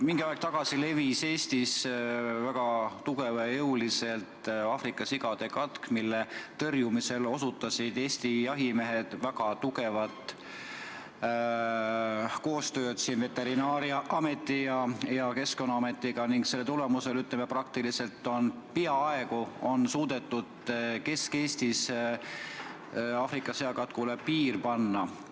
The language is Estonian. Mingi aeg tagasi levis Eestis väga tugevalt ja jõuliselt sigade Aafrika katk, mille tõrjumisel tegid Eesti jahimehed väga tugevat koostööd Veterinaar- ja Toiduameti ning Keskkonnaametiga ning selle tulemusel on suudetud Kesk-Eestis Aafrika seakatkule peaaegu piir panna.